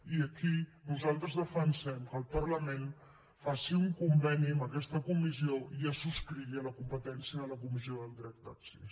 i aquí nosaltres defensem que el parlament faci un conveni amb aquesta comissió i es subscrigui a la competència de la comissió del dret d’accés